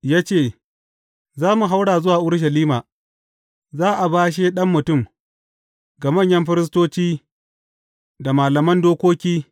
Ya ce, Za mu haura zuwa Urushalima, za a bashe Ɗan Mutum, ga manyan firistoci da malaman dokoki.